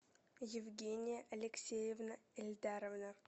евгения алексеевна эльдаровна